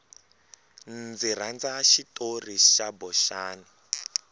ndzi rhandza xitori xa boxani